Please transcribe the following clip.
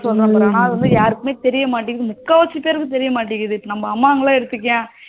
ஆனா அது வந்து யாருக்குமே தெரிய மாட்டேங்குது முக்காவாசி பேருக்கு தெரிய மாட்டேங்குது நம்ம அம்மா அவங்கள எல்லாம் எடுத்துக்கோயேன்